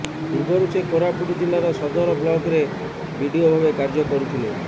ପୁର୍ବରୁ ସେ କୋରାପୁଟ ଜିଲ୍ଲାର ସଦର ବ୍ଲକରେ ବିଡିଓ ଭାବେ କାର୍ଯ୍ୟ କରୁଥିଲେ